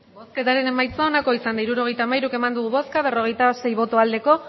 hirurogeita hamairu eman dugu bozka berrogeita sei bai